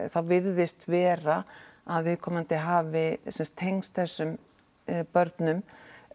þá virðist vera að viðkomandi hafi tengst þessum börnum